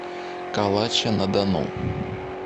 калача на дону